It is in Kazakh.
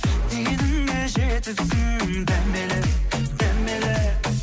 дегеніңе жетіпсің дәмелі дәмелі